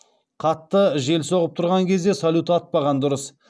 қатты жел соғып тұрған кезде салют атпаған дұрыс